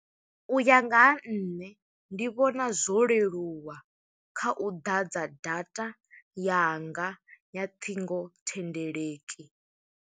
U ya nga ha nṋe, ndi vhona zwo leluwa kha u ḓadza data yanga ya ṱhingothendeleki.